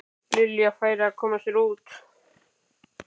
Lilja færi að koma sér út.